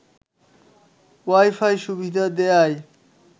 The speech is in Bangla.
ওয়াইফাই সুবিধা দেয়ায়